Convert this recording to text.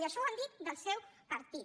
i això ho han dit del seu partit